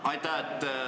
Aitäh!